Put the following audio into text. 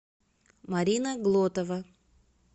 марина глотова